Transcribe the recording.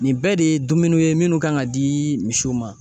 Nin bɛɛ de ye dumuniw ye minnu kan ka di misiw ma